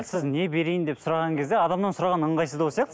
сіз не берейін деп сұраған кезде адамнан сұраған ыңғайсыздау сияқты